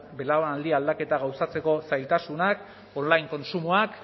belaunaldi aldaketa gauzatzeko zailtasunak online kontsumoak